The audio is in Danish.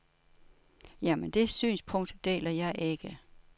Ja, men det synspunkt deler jeg ikke.